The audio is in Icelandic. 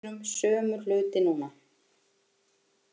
Við heyrum sömu hluti núna